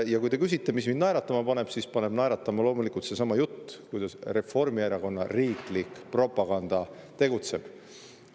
Kui te küsite, mis mind naeratama paneb, siis naeratama paneb loomulikult seesama jutt, kuidas Reformierakonna riiklik propaganda tegutseb.